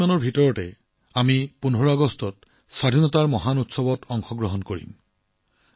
এতিয়া কিছুদিনৰ পাছত আমি ১৫ আগষ্টত স্বাধীনতাৰ এই মহান উৎসৱৰ অংশ হম